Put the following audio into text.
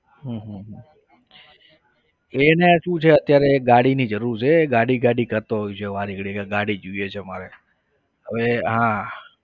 હમ હમ હમ એને શું છે અત્યારે ગાડીની જરૂર છે એ ગાડી ગાડી કરતો હોય છે વારેઘડીએ ગાડી જોઈએ છે મારે હવે હા